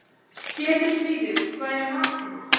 Ketilfríður, hvað er í matinn?